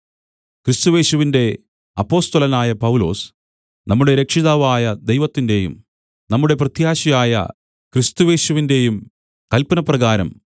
ക്രിസ്തുയേശുവിന്റെ അപ്പൊസ്തലനായ പൗലൊസ് നമ്മുടെ രക്ഷിതാവായ ദൈവത്തിന്റെയും നമ്മുടെ പ്രത്യാശയായ ക്രിസ്തുയേശുവിന്റെയും കല്പനപ്രകാരം